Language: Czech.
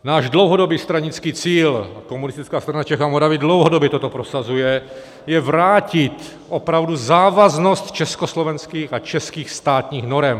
Náš dlouhodobý stranický cíl, Komunistická strana Čech a Moravy dlouhodobě toto prosazuje, je vrátit opravdu závaznost československých a českých státních norem.